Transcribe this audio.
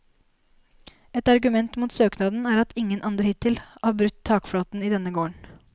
Et argument mot søknaden er at ingen andre hittil har brutt takflaten i denne gården.